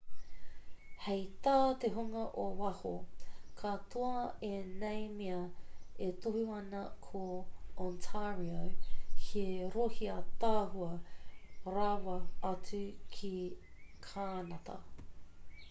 hei tā te hunga o waho katoa ēnei mea e tohu ana ko ontario he rohe ātaahua rawa atu ki kānata